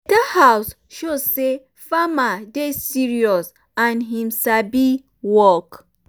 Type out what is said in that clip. better house show say farmer dey serious and him sabi um work